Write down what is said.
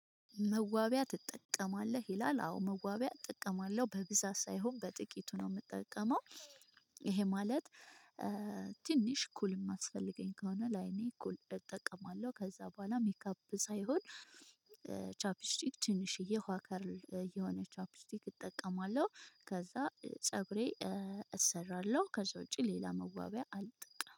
መዋቢያ ትጠቀማለህ ይላል? አዎ መዋቢያ እጠቀማለሁ በብዛት ሳይሆን በጥቂቱ ነው የምጠቀመው። ይሄ ማለት ትንሽ ኩል የሚያስፈልገኝ ከሆነ ለአይኔ ኩል እጠቀማለሁ። ከዛ በኋላ ሜካፕ ሳይሆን። ቻፕስቲክ ትንሽዬ ውሃ ከለር የሆነ ቻፕስቲክ እጠቀማለሁ። ከዛ ፀጉሬን እሰራለሁ ከዛ ውጪ ሌላ መዋቢያ አልጠቀምም